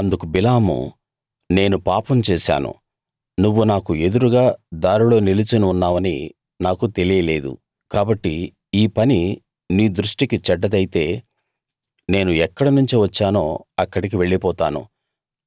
అందుకు బిలాము నేను పాపం చేశాను నువ్వు నాకు ఎదురుగా దారిలో నిలుచుని ఉన్నావని నాకు తెలియలేదు కాబట్టి ఈ పని నీ దృష్టికి చెడ్డదైతే నేను ఎక్కడనుంచి వచ్చానో అక్కడికి వెళ్ళిపోతాను